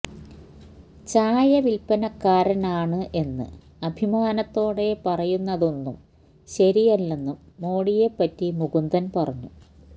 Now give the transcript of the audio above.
ചായവില്പ്പനക്കാരാനാണ് എന്ന് അഭിമാനത്തോടെ പറയുന്നതൊന്നും ശരിയല്ലെന്നും മോഡിയെ പറ്റി മുകുന്ദന് പറഞ്ഞു